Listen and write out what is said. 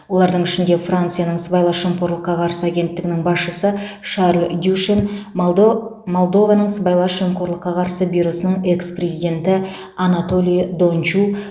олардың ішінде францияның сыбайлас жемқорлыққа қарсы агенттігінің басшысы шарль дюшен молдо молдованың сыбайлас жемқорлыққа қарсы бюросының экс президенті анатолий дончу